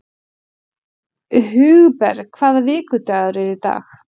Hugberg, hvaða vikudagur er í dag?